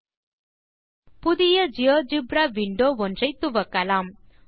000454 000450 புதிய GeoGebra window ஒன்றை துவக்கலாம்